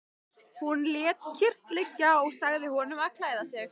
Hún lét kyrrt liggja og sagði honum að klæða sig.